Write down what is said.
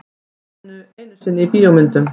Ekki einu sinni í bíómyndum.